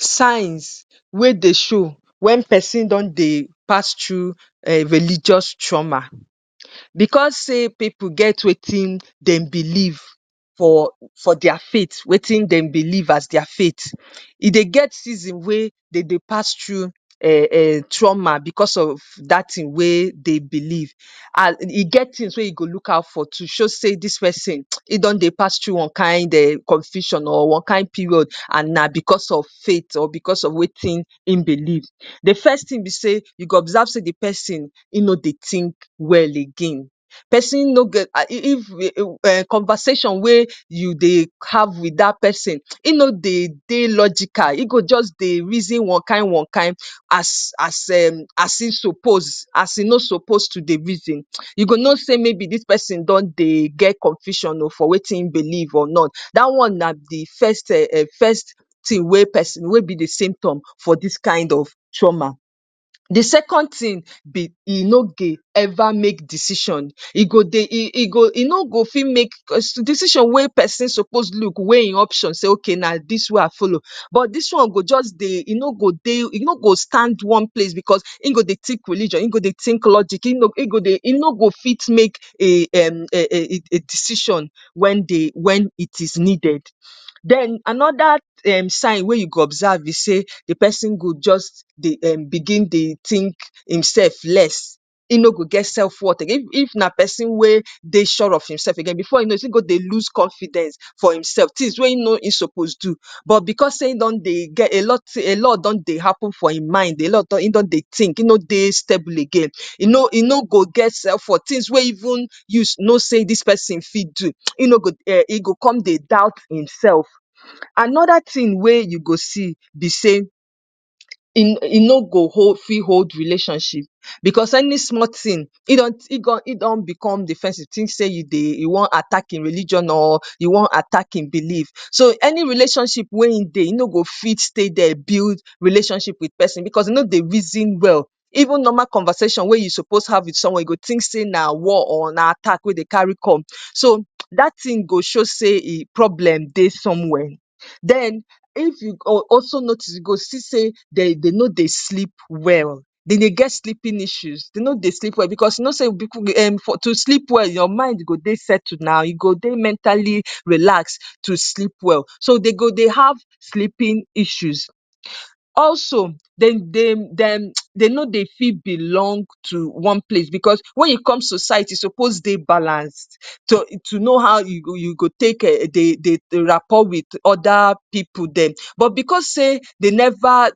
‎signs wey dey show wen pesin don dey pas true a religious trauma becos say pipo get wetin dem believe for for dia fath wetin dem believe as dia fathe e dey get season wey dey dey pass true um um trama becos of dat tin wey dey believe as e e get tins wey e go look out o show say dis pesn e don dey pas tue one cary di compfusion or one kain perioad and na bcos of fateor bcos of wetin in belif de first tin b say, u go observe say de person e no dey tink well again conversation wee u dey have wit da person, e no dey de logical, e go jus dey reason onekin onekin as um as e suppose to dey reason u go no say mayb dis person don dey get confusioon o for wetin e belive or not, da one na de first um um de first tin we pers we be de simptom for dis kind of trauma. the second tin b e no dey ever make decision e go dey e go, e no go fit make decision wen person suppuse look weigh e option say ok na dis wen i folo but this one go jus dey e no go dey e no go stand one place cos in go dey tink religion in go dey tink logig e go dey e no go fit make a um um decision wen dey wen it is needed. den anoda sign wen u go observe be say de person go jus begin dey tink e self less in no go get selfworth again like person we no dey sure of imself again in go dey loose confidence fo imself tins wen im no suppose do but bcos say in don dey e get a lot a lot don dey happen for in mind in don dey tink in no dey stable agaiin e no e no go get sence for tins wen even u no say dis person for fit do e no go um e go come dey doubt imself. anoda tin we u go see be say im e no go fit hold relationship bcos any small tin egon edon become de person wen e tink say e wan attack e religion or u wan attack e belive so any relationship wen e dey fit stay there build relationship bcos e no dey reason well, small conversation we u go have wit person e go tink say na war or na attack wen dey carry come dat tin go show say e problem dey somewere den if u um also notice u go see say dey no dey sleep well dey de get sleepinf issues dey no dey fi bcos to sleep well your mind go dey settled na e go dey mentally relaxed to sleep well so dey go dey have sleepinf issues, also den dey um dey no dey fit belong to one place bcos wen u come to u suppose dey balanced to no how u go take dey um dey de rapour wit oda pipu dem but bcos say dey never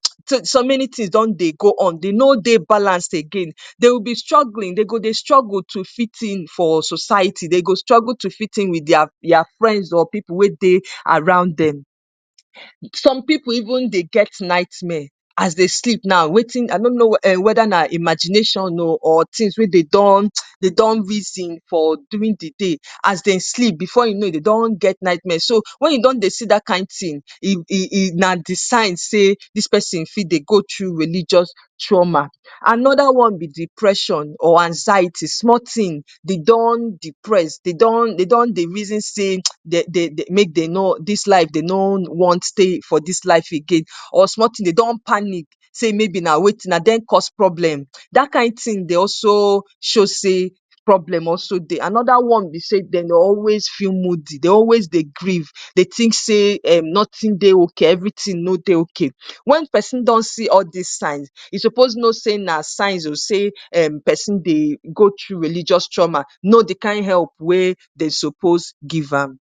so many tins don dey go on dey no dey balanced again they will be struggling dey go dey struggle to fit in for society dey go struggle to fit in wit their friends or pipu wen dey around dem some pipu even dey get nightmare as dey sleep noow wetin anono weda na imagination o or tins wen dey don dey don reason for during de day as dem sleep bfore u no dey don get nightmare wen u don dey see dat kin tin um um na de sign say dis person fit dey go tru religious trauma, anoda one be depression or anxiety small tin dey don depress dey don dey reason say dey de make dey no this life dey reason stay for dis life again small tin dey don panic like say na dem cos problem dat kin tin dey also show say problem also de, anoda one be say dem dey always feel moody dey always dey griefe dey tink say um notin dey ok say everytin no dey ok, wen person don see all dis signss e suppose no say na signs of say person dey go tru religious trauma no de kin help wen dey suppose give am.